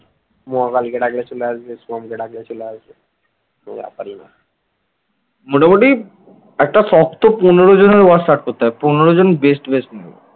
মোটামুটি একটা শক্ত পনেরো জনের war start করতে হবে। পনেরো জন guest ফেস্ট নিয়ে